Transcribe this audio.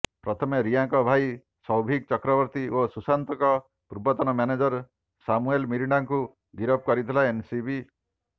ପ୍ରଥମେ ରିୟାଙ୍କ ଭାଇ ସୌଭିକ୍ ଚକ୍ରବର୍ତ୍ତୀ ଓ ସୁଶାନ୍ତଙ୍କ ପୂର୍ବତନ ମ୍ୟାନେଜର ସାମୁଏଲ ମିରାଣ୍ଡାଙ୍କୁ ଗିରଫ କରିଥିଲା ଏନସିବି